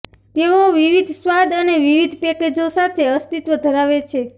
તેઓ વિવિધ સ્વાદ અને વિવિધ પેકેજો સાથે અસ્તિત્વ ધરાવે છે